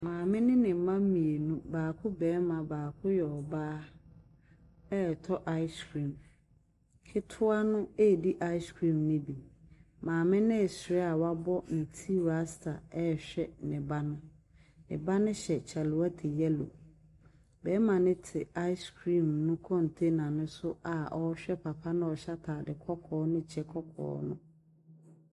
Maame ne ne mma mmienu. Baako barima baako yɛ ɔbaa retɔ ice cream. Ketewa no redi ice cream no bi. Maame no resere a wabɔ ne ti rasta rehwɛ ne ba no. Ne ba no hyɛ kyale wate yellow. Barima no te ice cream no container no so a ɔrehwɛ papa no a ɔhyɛ ataade kɔkɔɔ ne kyɛ kɔkɔɔ no.